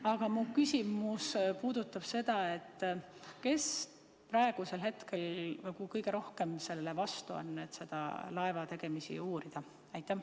Aga mu küsimus on selline: kes on praegusel hetkel kõige rohkem selle vastu, et seda laeva uurida?